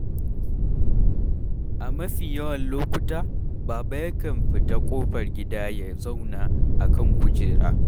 A mafi yawan lokuta Baba yakan fita ƙofar gida ya zauna a kan kujera.